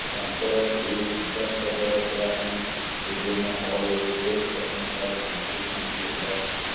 ତାଙ୍କର ଏହି ନିଃସ୍ବାର୍ଥପର ସେବା ପାଇଁ ବିଭିନ୍ନ ମହଲରୁ ବେଶ୍ ପ୍ରଶଂସା ସାଉଁଟିଛନ୍ତି ହର